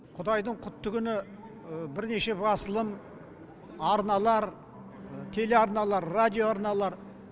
құдайдың құтты күні бірнеше басылым арналар телеарналар радиоарналар